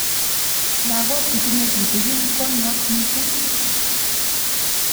Lakok chetinye tutikin konwok missing.